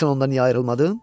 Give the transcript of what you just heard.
Bilirsən ondan niyə ayrılmadım?